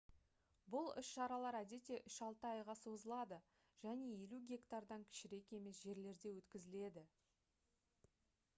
бұл іс-шаралар әдетте үш-алты айға созылады және 50 гектардан кішірек емес жерлерде өткізіледі